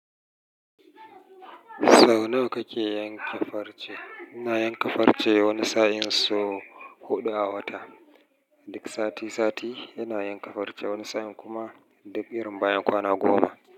Sau nawa kake yanke farce? Ina yanke farce wani sa'in sau huɗu a wata, duk sati sati ina yanke farce wani sa'in kuma duk irin bayan kwana goma.